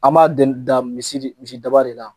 An b'a dan misidaba de la